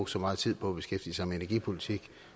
så meget tid på at beskæftige sig med energipolitik